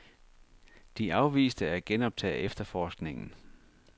De afviste at genoptage efterforskningen.